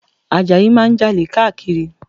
Àjàlá máa ń Jalè káàkiri